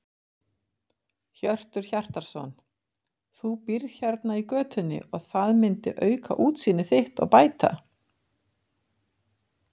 Hjörtur Hjartarson: Þú býrð hérna í götunni og það myndi auka útsýni þitt og bæta?